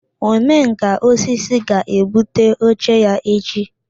Omenkà osisi ga-ebute oche ya echi